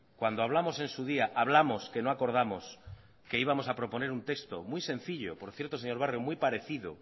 cuando hablamos en su día hablamos que no acordamos que íbamos a proponer un texto muy sencillo por cierto señor barrio muy parecido